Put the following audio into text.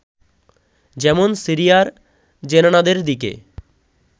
যেমন সিরিয়ার জেনানাদের দিকে